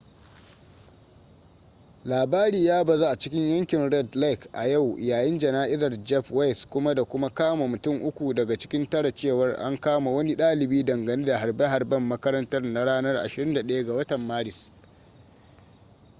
labari ya bazu a cikin yankin red lake a yau yayin jana'izar jeff weise kuma da kuma kama mutun uku daga cikin tara cewa an kama wani ɗalibi dangane da harbe-harben makarantar na ranar 21 ga maris